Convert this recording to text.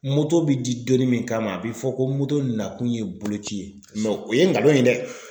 bɛ di donnin min kama a bɛ fɔ ko nakun ye boloci ye o ye ngalon ye dɛ.